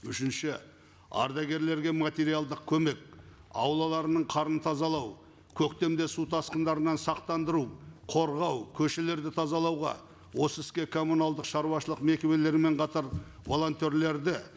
үшінші ардагерлерге материалдық көмек аулаларының қарын тазалау көктемде су тасқындарынан сақтандыру қорғау көшелерді тазалауға осы іске коммуналдық шаруашылық мекемелермен қатар волонтерлерді